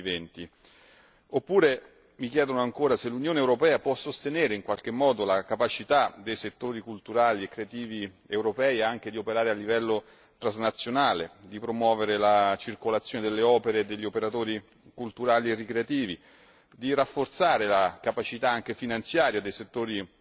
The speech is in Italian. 2020. Oppure mi chiedono se l'Unione europea può sostenere in qualche modo la capacità dei settori culturali e creativi europei anche di operare a livello transnazionale, di promuovere la circolazione delle opere e degli operatori culturali e creativi, di rafforzare la capacità anche finanziaria dei settori